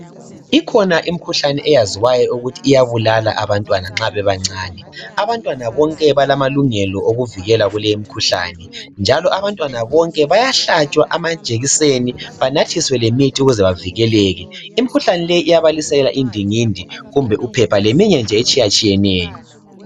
Ikhona imikhuhlane eyaziwayo ukuthi iyabulala abantwana nxa bebancane. Abantwana bonke balamalungelo okuvikelwa kulemikhuhlane njalo abantwana bonke bayahlatshwa amajekiseni banathiswe lemithi ukuze bavikeleke . Imikhuhlane leyi iyabalisela indingindi, kumbe uphepha leminye nje etshiyeneyo